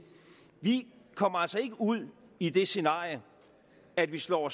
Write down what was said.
vi kommer altså ikke ud i det scenarie at vi slår